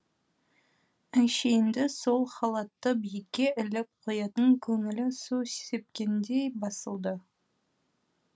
әншейінде сол халатты биікке іліп қоятын көңілі су сепкендей басылды